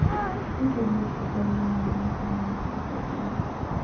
P. domestica yoimire irĩma-inĩ cia Caucasus